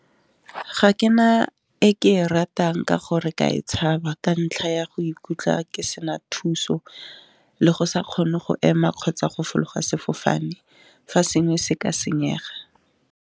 Ga ke na e ke e ratang ka gore ka e tshaba ka ntlha ya go ikutlwa ke sena thuso le go sa kgone go ema, kgotsa go fologa sefofane fa sengwe se ka senyega.